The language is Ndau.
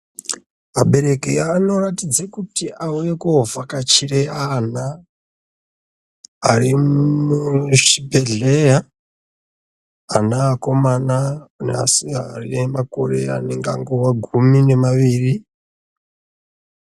Abereki ano ratidza kuti auye ko vhakachire ana ari muchi bhedhleya ana akomana ne sikana ane makore akangove gumi ne maviri.